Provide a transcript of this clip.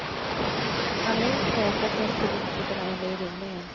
Han minns mötet med politikerna under rymningen.